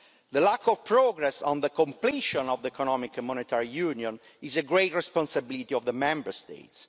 The lack of progress on the completion of economic and monetary union is a great responsibility of the Member States.